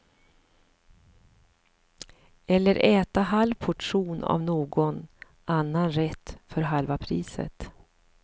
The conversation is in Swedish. Eller äta halv portion av någon annan rätt för halva priset.